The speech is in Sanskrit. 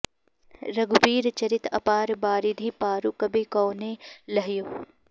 रघुबीर चरित अपार बारिधि पारु कबि कौनें लह्यो